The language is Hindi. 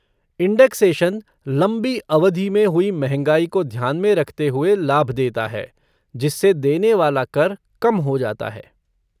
इंडेक्सेशन लंबी अवधि में हुई महँगाई को ध्यान में रखते हुए लाभ देता है जिससे देने वाला कर कम हो जाता है।